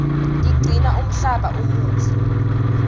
tigcina umhlaba umuhle